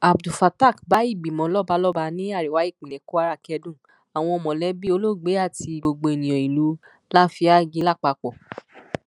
abdulfattaq bá ìgbìmọ lọbalọba ní àríwá ìpínlẹ kwara kẹdùn àwọn mọlẹbí olóògbé àti gbogbo ènìyàn ìlú láfíàgì lápapọ